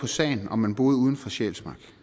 på sagen om man bor uden for sjælsmark